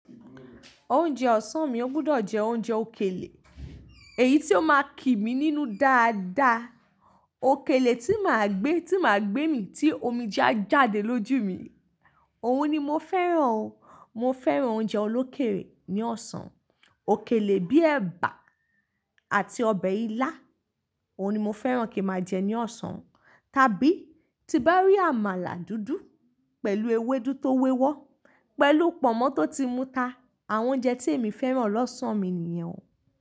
Oúnjẹ ọ̀sán mi ó gbudọ̀ jẹ oúnjẹ òkèlè, èyí tí ó máa kí mi nínú dáadáa, òkèlè tí màá gbé, tí màá gbé mí tí omije a jáde lójú mi. Òhun ni mo fẹ́ràn o. Mo fẹ́ràn oúnjẹ olókèèlè ní ọ̀sán. Òkèlè bíi ẹ̀bà àti ọbẹ̀ ilá, òhun ni mo fẹ́ràn kí n màá jẹ ní ọ̀sán, tàbí bí tin barí àmàlà dúdú pẹ̀lú ewédú tó wẹ́wọ́, pẹ̀lú Pọnmọ́ tó ti mú ta, àwọn oúnjẹ tí èmi fẹ́ràn lọ́sàn mi nìyẹn o.